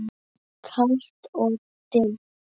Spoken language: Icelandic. Kalt og dimmt.